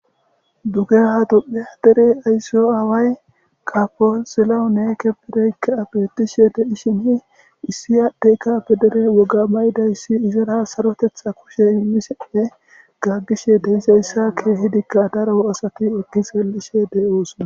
dugeha dupe dere ayssiyo aaway kaponsiloune kebedeykka abietishele ishini issi aadhdeykka pedere woga baydayssi izara sarotetha kushe immisenne gaggishe deyseyssa keehidikka daro asati eki seelishe deyoosona.